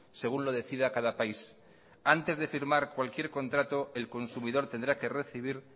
según lo decida cada país antes de firmar cualquier contrato el consumidor tendrá que recibir